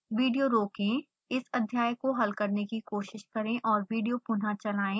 video रोकें इस अध्याय हल करने की कोशिश करें और विडियो पुनः चलाएं